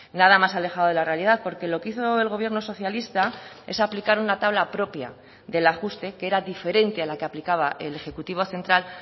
nada más alejado de la realidad porque lo que hizo el gobierno socialista es aplicar una tabla propia del ajuste que era diferente a la que aplicaba el ejecutivo central